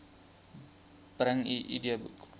bring u idboek